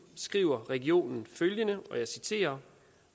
skriver regionen følgende og jeg citerer